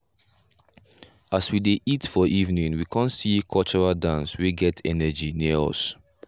as we dey eat for evening we con see cultural dance wey get energy near us.